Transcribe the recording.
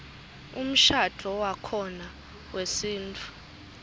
umshadvo wakhona wesintfu